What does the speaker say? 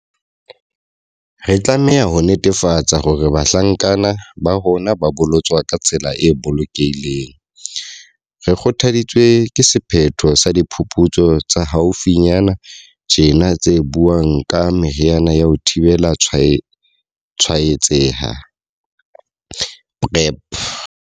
Re tlameha ho netefatsa hore bahlankana ba rona ba bolotswa ka tsela e bolokehileng. Re kgothaditswe ke sephetho sa diphuputsu tsa haufinyana tjena tse buang ka meriana ya ho thibela tshwaetseha PrEP.